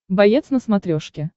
боец на смотрешке